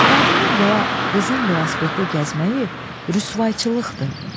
Qadının və ya qızın velosipeddə gəzməyi rüsvayçılıqdır.